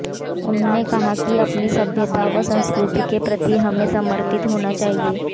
उन्होंने कहा कि अपनी सभ्यता व संस्कृति के प्रति भी हमें समर्पित होना चाहिए